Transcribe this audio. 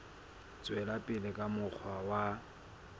tswela pele ka mokgwa wa